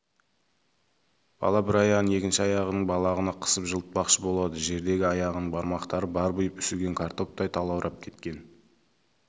бір аяғын екінші аяғының балағына қысып жылытпақшы болады жердегі аяғының бармақтары барбиып үсіген картоптай талаурап кеткен